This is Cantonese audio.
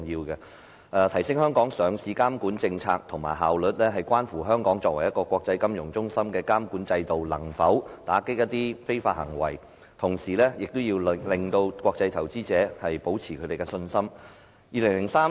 要提升香港上市監管政策及效率，關乎香港作為一個國際金融中心的監管制度能否打擊一些非法行為，同時亦要令國際投資者保持信心。